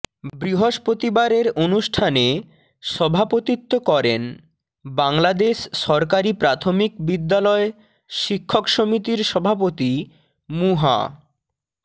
বৃহস্পতিবারের অনুষ্ঠানে সভাপতিত্ব করেন বাংলাদেশ সরকারি প্রাথমিক বিদ্যালয় শিক্ষক সমিতির সভাপতি মুহা